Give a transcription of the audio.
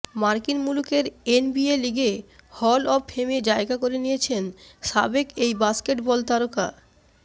মার্কিন মুলুকের এনবিএ লিগে হল অব ফেমে জায়গা করে নিয়েছেন সাবেক এই বাস্কেটবল তারকা